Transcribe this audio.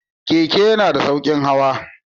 Keke yana da sauƙin hawa.